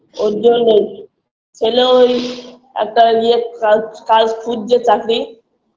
ওরজন্যেই ছেলেও ওই একটা ইয়ের কাজ কাজ খুঁজছে চাকরি